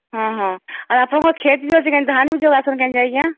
ହଁ ହଁ ଆଉ ଅପଣଂକର କ୍ଷେତ ବି ଅଛେ କି ଧାନ ବି ଯୋଗାସନ କାଇଁ ଯେଇସା